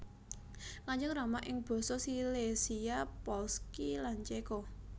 Kanjeng Rama ing Basa Silesia Polski lan Céko